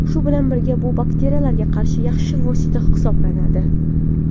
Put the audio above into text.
Shu bilan birga bu bakteriyalarga qarshi yaxshi vosita hisoblanadi.